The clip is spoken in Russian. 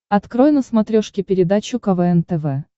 открой на смотрешке передачу квн тв